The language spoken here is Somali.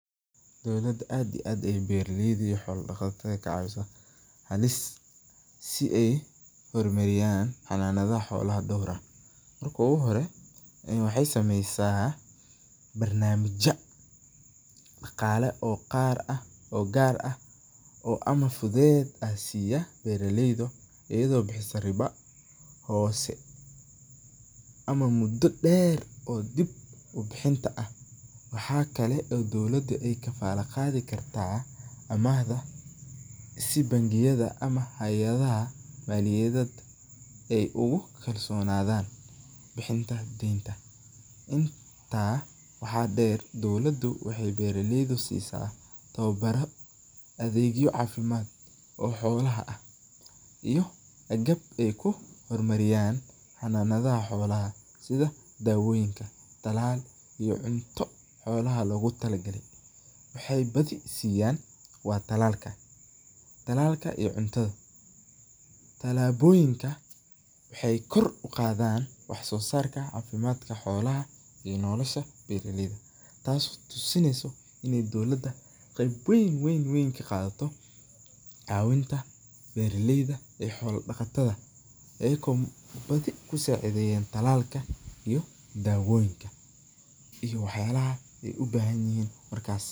Dowlada aad iyo aad ayeey beeraleyda iyo xoola daqatada u caawisa, halis si aay uhor mariyaan hanadaha xoolaha door ah, marka uhore waxeey sameysa, barnamija daqaala oo qaar ah ama fudeed ah siiya beeraleyda ayado bixisa riba hoose, ama mudo deer oo dib ubixinta ah, waxaa kale oo dowlada aay kafaala qaadi kartaa amahda si bankiyada ama hayadaha maliyayad aay ugu kalsonadaan bixinta deenta, intaa waxaa deer dowladu waxeey beeraleyda siisa tababara adeegyo cafimaad oo xoolaha ah iyo aay ku hor mariyaan xoolaha sida daawoyiinka, talaalka iyo cunto xoolaha loogu tala galay, waxeey badi siiyan waa talaalka, talaalka iyo cuntada, talaaboyinka waxeey kor uqaadan wax soo saarka cafimaadka xoolaha iyo nolosha beeraleyda taas oo tusineyso in dowlada qeyb weyn kaqaadato cawinta beeraleyda iyo xoola daqatada, badi kusacideyan talaalka iyo daawoyiinka iyo wax yaabaha aay ubahan yihiin markaas.